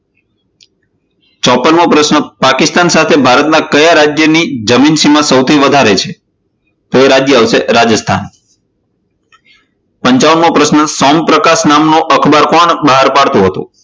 ચોપન મો પ્રશ્ન પાકિસ્તાન સાથે ભારતના કયા રાજ્યની જમીન સીમા સૌથી વધારે છે? તો એ રાજ્ય આવશે રાજસ્થાન. પંચાવન મો પ્રશ્ન સૌમ પ્રકાશ નામનું અખબાર કોણ બહાર પાડતુ હતું?